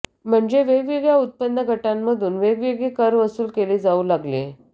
म्हणजे वेगवेगळ्या उत्पन्न गटांमधून वेगवेगळे कर वसूल केले जाऊ लागले